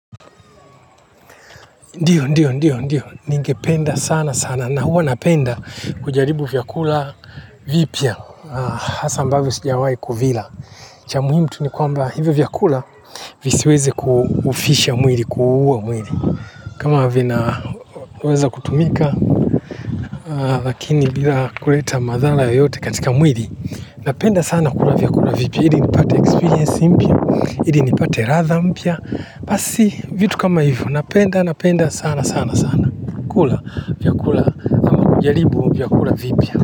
Ndiyo, ndio, ndio, ndio. Ningependa sanasana na huwa napenda kujaribu vyakula vipya hasa ambavyo sijawahi kuvila. Cha muhimu tu ni kwamba hivyo vyakula visiweze kufisha mwili, kuua mwili. Kama vinaweza kutumika, lakini bila kuleta madhara yoyote katika mwili, napenda sana kula vyakula vipya. Ili nipate experience mpya, ili nipate ladha mpya. Basi, vitu kama hivyo napenda, napenda sana sana sana. Kula vyakula jaribu vyakula vipya.